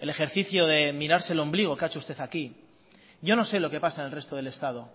el ejercicio de mirarse el ombligo que ha hecho usted aquí yo no sé lo que pasa en el resto del estado